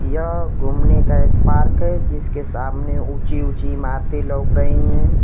यहां घूमने का एक पार्क है जिसके सामने ऊंची ऊंची इमारतें लोक रही हैं।